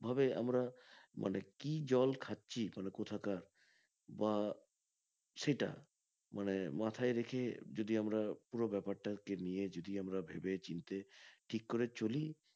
এভাবে আমরা মানে কি জল খাচ্ছি মানে কোথাকার বা সেটা মানে মাথায় রেখে যদি আমরা পুরো ব্যাপার টা কে নিয়ে যদি আমরা ভেবে চিনতে ঠিক করে চলি